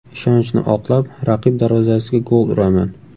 Ishonchni oqlab, raqib darvozasiga gol uraman.